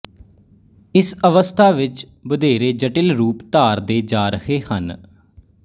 ਇਸ ਅਵਸਥਾ ਵਿੱਚ ਵਧੇਰੇ ਜਟਿਲ ਰੂਪ ਧਾਰਦੇ ਜਾ ਰਹੇ ਹਨ